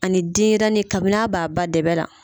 Ani denyɛrɛnin kabin"a b'a ba dɛbɛ la.